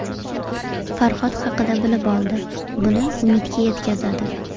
Farhod haqida bilib olib, buni Umidga yetkazadi.